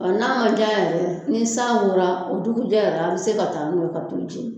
Ɔ n'a ma diya ni san wora o dugujɛ yɛrɛ a bɛ se ka taa n'u ye ka t'u jeni